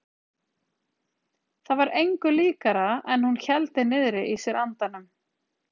Það var engu líkara en hún héldi niðri í sér andanum.